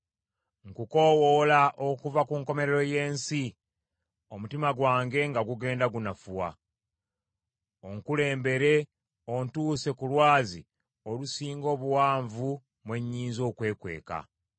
Nkukoowoola okuva ku nkomerero y’ensi, omutima gwange nga gugenda gunafuwa. Onkulembere ontuuse ku lwazi olunsinga obuwanvu mwe nnyinza okwekweka.